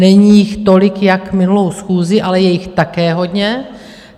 Není jich tolik jako minulou schůzi, ale je jich také hodně.